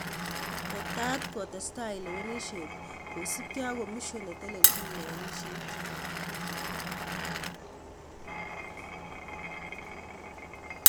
Tetat kotestai lewenishet kosipkei ak commision netelelchin lewenisheet